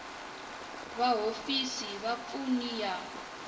va hofisi va vapfuni ya